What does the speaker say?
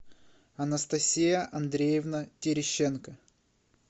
анастасия андреевна терещенко